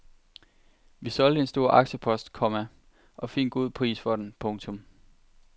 Vi solgte en stor aktiepost, komma og fik en god pris for den. punktum